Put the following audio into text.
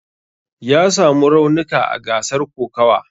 Ya samu raunika a gasar kokawa.